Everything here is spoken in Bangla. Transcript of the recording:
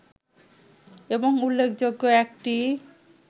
এবং উল্লেখযোগ্য একটি